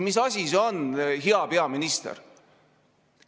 Mis asi see on, hea peaminister?